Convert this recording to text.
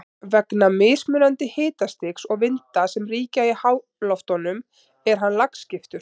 Vegna mismunandi hitastigs og vinda sem ríkja í háloftunum er hann lagskiptur.